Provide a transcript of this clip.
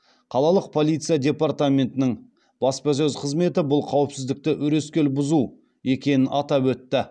қалалық полиция департаментінің баспасөз қызметі бұл қауіпсіздікті өрескел бұзу екенін атап өтті